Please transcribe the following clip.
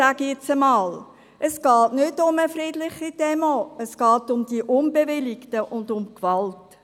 Es geht nicht um eine friedliche Demonstration, es geht um die nicht bewilligten und um Gewalt.